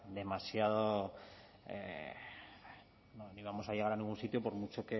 demasiado no íbamos a llegar a ningún sitio por mucho